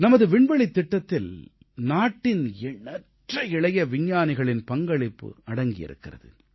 நமது விண்வெளித் திட்டத்தில் நாட்டின் எண்ணற்ற இளைய விஞ்ஞானிகளின் பங்களிப்பு அடங்கியிருக்கிறது